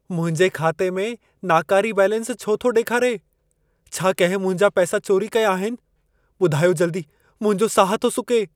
मुंहिंजे खाते में नाकारी बैलेंस छो थो ॾेखारे? छा कहिं मुंहिंजा पैसा चोरी कया आहिन? ॿुधायो जल्दी, मुंहिंजो साह थो सुके।